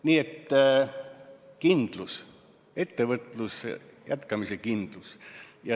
Nii et kindlus, ettevõtluse jätkamise kindlus.